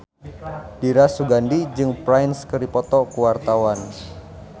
Dira Sugandi jeung Prince keur dipoto ku wartawan